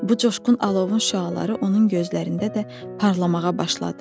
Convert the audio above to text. Bu coşqun alovun şüaları onun gözlərində də parlamağa başladı.